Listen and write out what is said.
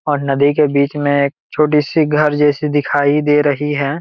और नदी के बीच में एक छोटी सी घर जैसी दिखाई दे रही है।